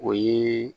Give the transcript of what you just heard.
O ye